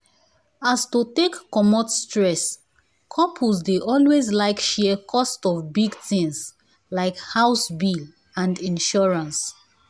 as to take commot stress couples dey always like share cost of big things like house bills and insurance.